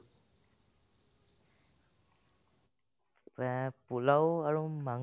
এহ্, পোলাও আৰু মাংস